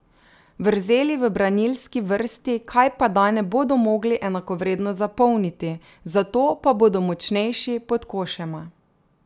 Vrzeli v branilski vrsti kajpada ne bodo mogli enakovredno zapolniti, zato pa bodo močnejši pod košema.